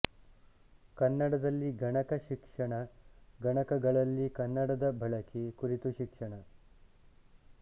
ಕನ್ನಡದಲ್ಲಿ ಗಣಕ ಶಿಕ್ಷಣ ಗಣಕಗಳಲ್ಲಿ ಕನ್ನಡದ ಬಳಕೆ ಕುರಿತು ಶಿಕ್ಷಣ